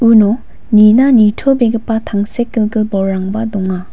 uno nina nitobegipa tangsekgilgil bolrangba donga.